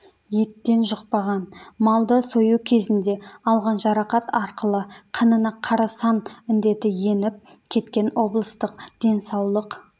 еттен жұқпаған малды сою кезінде алған жарақат арқылы қанына қарасан індеті еніп кеткен облыстық денсаулық